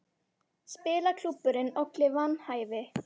Spilaklúbburinn olli vanhæfi